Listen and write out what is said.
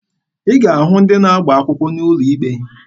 Ị ga-ahụkwa ndị na-agba akwụkwọ n'ụlọ ikpe.